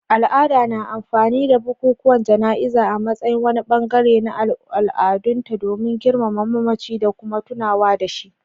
Al'ada na amfani da bukukuwan jana'iza a matsayin wani bangare na al'adunta don girmama mamaci da kuma tunawa da shi.